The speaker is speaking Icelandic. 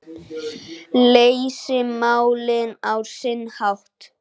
Leysa málin á sinn hátt.